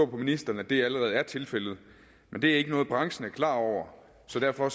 på ministeren at det allerede er tilfældet men det er ikke noget branchen er klar over så derfor